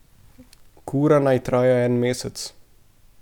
Kura naj traja en mesec.